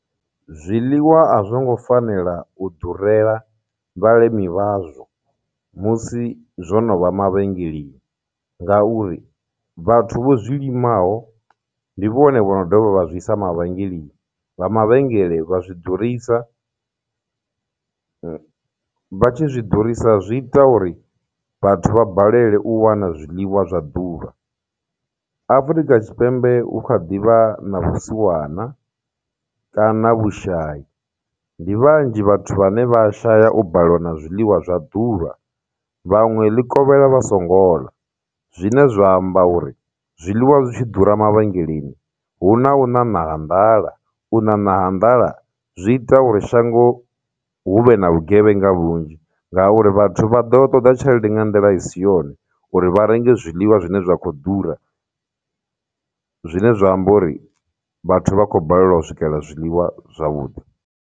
Zwiḽiwa a zwongo fanela u durela vhalimi vhazwo musi zwono vha mavhengeleni, ngauri vhathu vho zwilimiaho ndi vhone vho no dovha vha zwi isa mavhengeleni, vha mavhengele vha zwi ḓurisa, vha tshi zwi ḓurisa, zwi ita uri vhathu vha balelwe u wana zwiḽiwa zwa ḓuvha. Afurika Tshipembe hu kha ḓivha na vhusiwana kana vhushayi, ndi vhanzhi vhathu vhane vha shaya u balelwa na zwiḽiwa zwa ḓuvha, vhaṅwe ḽi kovhela vha songo ḽa, zwine zwa amba uri zwiḽiwa zwi tshi ḓura mavhengeleni huna u ṋaṋa ha nḓala, u ṋaṋa ha nḓala, zwi ita uri shango hu vhe na vhugevhenga vhunzhi, ngauri vhathu vha ḓo ṱoḓa tshelede nga nḓila i si yone uri vha renge zwiḽiwa zwine zwa khou ḓura, zwine zwa amba uri vhathu vha khou balelwa u swikela zwiḽiwa zwavhuḓi.